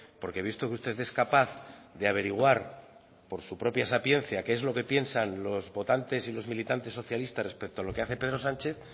porque he visto que usted es capaz de averiguar por su propia sapiencia qué es lo que piensan los votantes y los militantes socialistas respecto a lo que hace pedro sánchez